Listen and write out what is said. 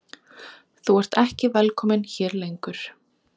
Þú ert ekki velkominn hér lengur.